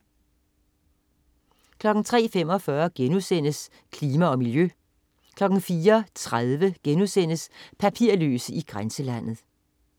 03.45 Klima og miljø* 04.30 Papirløse i grænselandet*